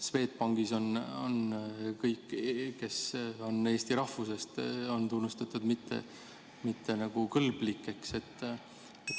Swedbankis on kõik, kes on eesti rahvusest, tunnistatud mittekõlblikeks.